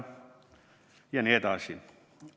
Ja nii edasi.